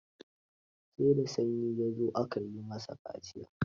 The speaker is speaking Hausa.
Sai da sanyi ya zo aka yi masa kaciya.